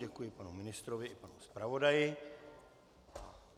Děkuji panu ministrovi i panu zpravodaji.